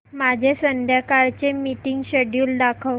माझे संध्याकाळ चे मीटिंग श्येड्यूल दाखव